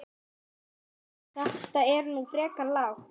Þetta er nú frekar lágt